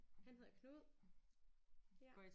Han hedder Knud ja